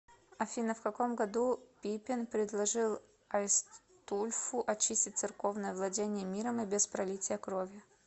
афина в каком году пипин предложил айстульфу очистить церковные владения миром и без пролития крови